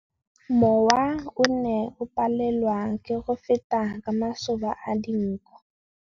Mowa o ne o palelwa ke go feta ka masoba a dinko.